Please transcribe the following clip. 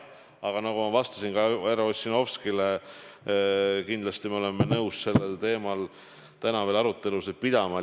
Aga nagu ma vastasin härra Ossinovskile, kindlasti me oleme nõus sellel teemal täna veel arutelusid pidama.